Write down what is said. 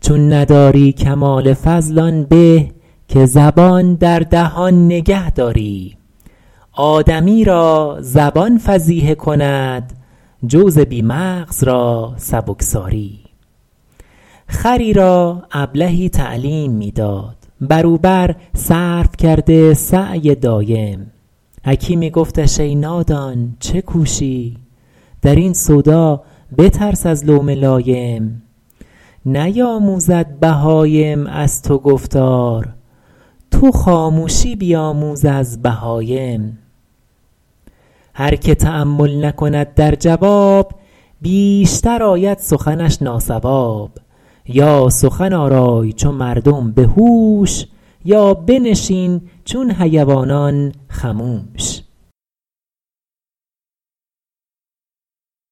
چون نداری کمال فضل آن به که زبان در دهان نگه داری آدمی را زبان فضیحه کند جوز بی مغز را سبکساری خری را ابلهی تعلیم می داد بر او بر صرف کرده سعی دایم حکیمی گفتش ای نادان چه کوشی در این سودا بترس از لوم لایم نیاموزد بهایم از تو گفتار تو خاموشی بیاموز از بهایم هر که تأمل نکند در جواب بیشتر آید سخنش ناصواب یا سخن آرای چو مردم به هوش یا بنشین چون حیوانان خموش